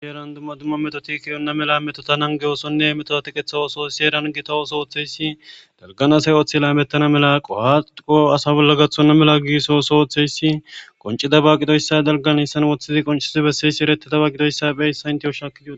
Heeran dumma dumma metoti ke7enna mela metota nanggiyo oosonnemetota teqetha ooso oothiyayssi dalgan asi ootho oothi laamettana mala qoha asa na7a bolla qohay gakkenna mela oothidaaba gidoyssi qoncce.gididaaba gidoyssi erettees.